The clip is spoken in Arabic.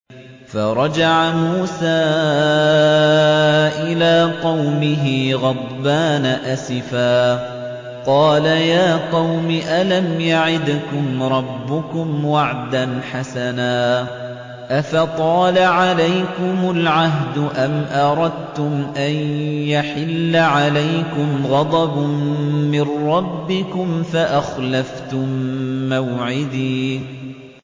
فَرَجَعَ مُوسَىٰ إِلَىٰ قَوْمِهِ غَضْبَانَ أَسِفًا ۚ قَالَ يَا قَوْمِ أَلَمْ يَعِدْكُمْ رَبُّكُمْ وَعْدًا حَسَنًا ۚ أَفَطَالَ عَلَيْكُمُ الْعَهْدُ أَمْ أَرَدتُّمْ أَن يَحِلَّ عَلَيْكُمْ غَضَبٌ مِّن رَّبِّكُمْ فَأَخْلَفْتُم مَّوْعِدِي